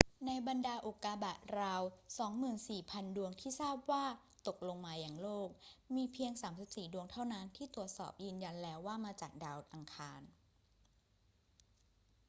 ในบรรดาอุกกาบาตราว 24,000 ดวงที่ทราบว่าตกลงมายังโลก มีเพียง 34 ดวงเท่านั้นที่ตรวจสอบยืนยันแล้วว่ามาจากดาวอังคาร